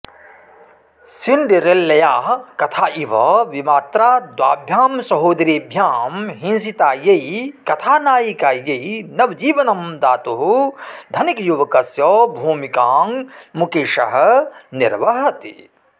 सिण्डरेल्लयाः कथा इव विमात्रा द्वभ्यां सहोदरीभ्यां हिंसितायै कथानायिकायै नवजीवनं दातुः धनिकयुवकस्य भूमिकां मुकेशः निर्वहति